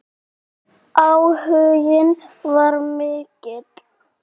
Áhuginn var mikill.